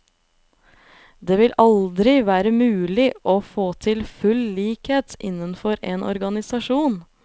Det vil aldri være mulig å få til full likhet innenfor en organisasjon.